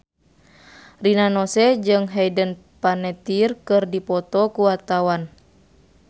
Rina Nose jeung Hayden Panettiere keur dipoto ku wartawan